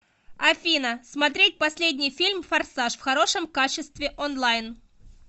афина смотреть последний фильм форсаж в хорошем качестве онлайн